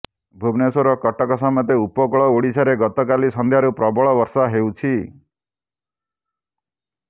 ଭୁବନେଶ୍ୱର କଟକ ସମେତ ଉପକୂଳ ଓଡ଼ିଶାରେ ଗତକାଲି ସଂଧ୍ୟାରୁ ପ୍ରବଳ ବର୍ଷା ହେଉଛି